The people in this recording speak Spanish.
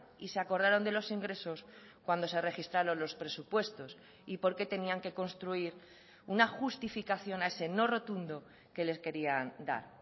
y se acordaron de los ingresos cuando se registraron los presupuestos y porque tenían que construir una justificación a ese no rotundo que les querían dar